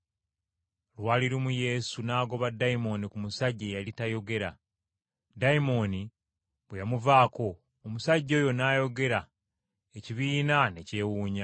Lwali lumu Yesu n’agoba dayimooni ku musajja eyali tayogera. Dayimooni bwe yamuvaako, omusajja oyo n’ayogera, ekibiina ky’abantu ne beewuunya.